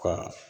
Ka